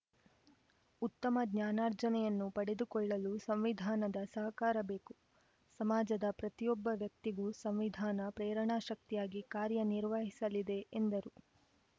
ಉತ್ತಮ ಜ್ಞಾನಾರ್ಜನೆಯನ್ನು ಪಡೆದುಕೊಳ್ಳಲು ಸಂವಿಧಾನದ ಸಹಕಾರ ಬೇಕು ಸಮಾಜದ ಪ್ರತಿಯೊಬ್ಬ ವ್ಯಕ್ತಿಗೂ ಸಂವಿಧಾನ ಪ್ರೇರಣಾ ಶಕ್ತಿಯಾಗಿ ಕಾರ್ಯನಿರ್ವಹಿಸಲಿದೆ ಎಂದರು